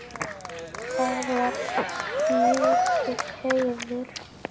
Það var mikill heiður.